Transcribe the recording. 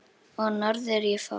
Og norður ég fór.